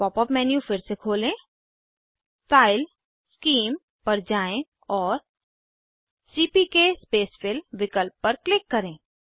pop up menu फिर से खोलें स्टाइल शीम पर जाएँ और सीपीके स्पेसफिल विकल्प पर क्लिक करें